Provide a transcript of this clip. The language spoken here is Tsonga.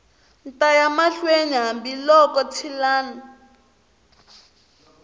ta ya mahlweni hambiloko ntshilani